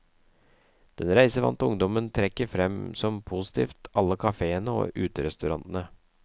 Den reisevante ungdommen trekker frem som positivt alle kaféene og uterestaurantene.